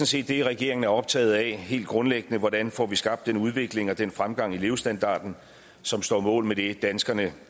set det regeringen er optaget af helt grundlæggende hvordan får vi skabt den udvikling og den fremgang i levestandarden som står mål med det danskerne